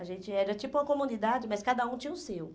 A gente era tipo uma comunidade, mas cada um tinha o seu.